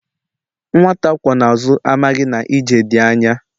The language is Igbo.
Nwata akwó na azu, amaghi na ije di anya